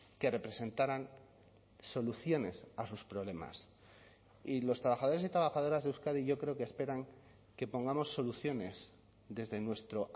que representaran soluciones a sus problemas y los trabajadores y trabajadoras de euskadi yo creo que esperan que pongamos soluciones desde nuestro